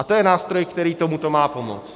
A to je nástroj, který tomu má pomoct.